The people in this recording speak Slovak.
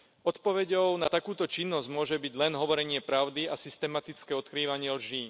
Odpoveďou na takúto činnosť môže byť len hovorenie pravdy a systematické odkrývanie lží.